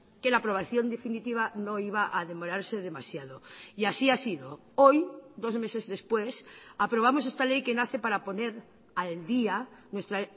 que la aprobación definitiva no iba a demorarse demasiado y así ha sido hoy dos meses después aprobamos esta ley que nace para poner al día nuestra